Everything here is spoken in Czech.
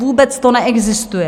Vůbec to neexistuje.